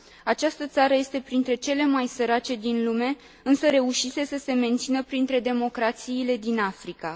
Această țară este printre cele mai sărace din lume, însă reușise să se mențină printre democrațiile din Africa.